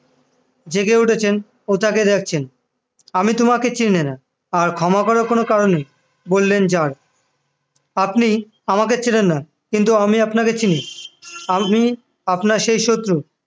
জেগে উঠেছেন ও তাকে দেখছেন আমি তোমাকে চিনি না আর ক্ষমা করার কোন কারণ নেই বললেন জার আপনি আমাকে চেনেন না কিন্তু আমি আপনাকে চিনি আমি আপনার সেই শত্রু